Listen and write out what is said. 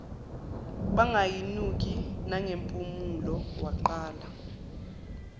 bangayinuki nangempumulo waqala